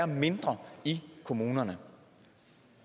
mindre i kommunerne